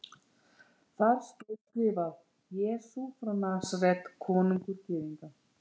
Þar stóð skrifað: Jesús frá Nasaret, konungur Gyðinga.